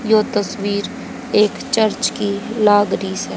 यो तस्वीर एक चर्च की लाग रही है।